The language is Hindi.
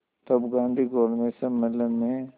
तब गांधी गोलमेज सम्मेलन में